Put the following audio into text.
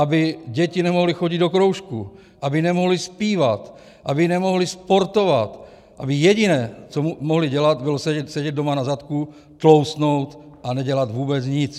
Aby děti nemohly chodit do kroužků, aby nemohly zpívat, aby nemohly sportovat, aby jediné, co mohou dělat, bylo sedět doma na zadku, tloustnout a nedělat vůbec nic.